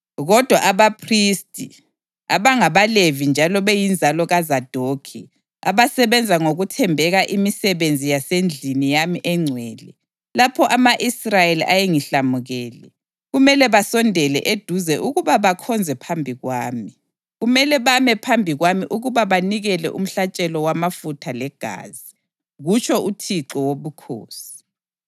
Kodwa abaphristi, abangabaLevi njalo beyinzalo kaZadokhi abasebenza ngokuthembeka imisebenzi yasendlini yami engcwele lapho ama-Israyeli ayengihlamukele, kumele basondele eduze ukuba bakhonze phambi kwami; kumele bame phambi kwami ukuba banikele umhlatshelo wamafutha legazi, kutsho uThixo Wobukhosi.